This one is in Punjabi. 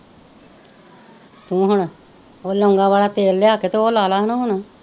ਤੂੰ ਹੁਣ ਉਹ ਲੌਂਗਾਂ ਵਾਲਾ ਤੇਲ ਲਿਆ ਕੇ ਉਹ ਲਾ ਲਾ ਨਾ ਹੁਣ